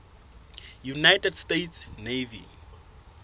united states navy